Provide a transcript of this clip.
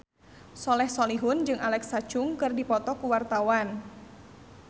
Soleh Solihun jeung Alexa Chung keur dipoto ku wartawan